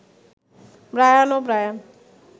Brian ও Brian